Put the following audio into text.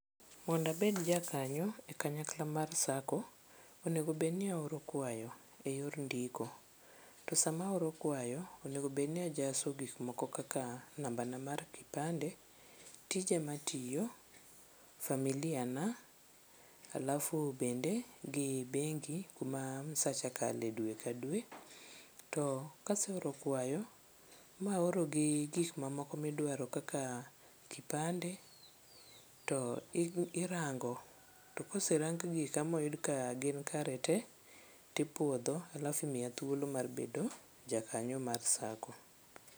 Mondo abed jakanyo e kanyakla mar sacco, onegobedni aoro kwayo e yor ndiko. To sama aoro kwayo, onego bedni ajaso gikmoko kaka nambana mar kipande, tija matiyo, familia na alafu bende gi bengi kuma msacha kale dwe ka dwe. To kaseoro kwayo maoro gi gik mamoko midwaro kaka kipande to irango to koserang gika moyud ka gin kare te, tipuodho alafu imiya thuolo mar bedo jakanyo mar sacco.